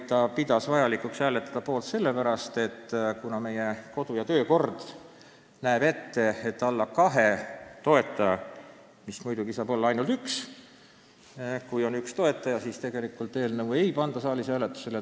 Ta pidas vajalikuks poolt hääletada meie kodu- ja töökorra pärast, mis näeb ette, et kui eelnõul on alla kahe toetaja, mis saab muidugi tähendada ainult ühte toetajat, siis ei panda seda saalis hääletusele.